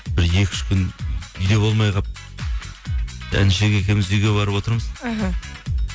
бір екі үш күн үйде болмай қалып інішек екеуіміз үйге барып отырмыз іхі